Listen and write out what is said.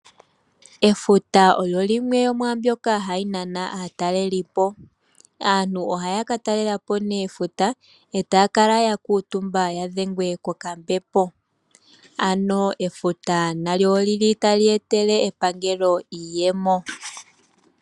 Efuta olyo limwe lyo mwaa mbyono hayi nana aatalelipo. Aantu ohaya ka talela po nee efuta e taya kala ya kuutumba ya dhengwe kokambepo. Efuta nalyo otali etele epangelo iiyemo.